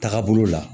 Taagabolo la